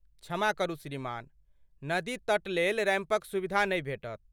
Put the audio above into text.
क्षमा करू श्रीमान। नदी तट लेल रेैंपक सुविधा नहि भेटत।